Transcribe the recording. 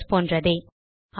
methods போன்றதே